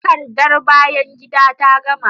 Takardar bayan gida ta gama.